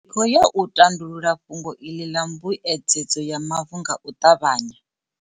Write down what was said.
Ri khou ya u tandulula fhungo iḽi ḽa mbuedzedzo ya mavu nga u ṱavhanya.